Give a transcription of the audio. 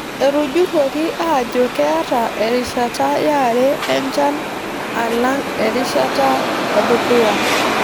Etujurruoki aajo keeta erishata yare enchan alang erishata edukuya.